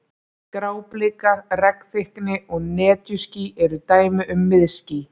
Gráblika, regnþykkni og netjuský eru dæmi um miðský.